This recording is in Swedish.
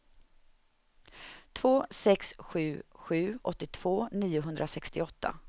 två sex sju sju åttiotvå niohundrasextioåtta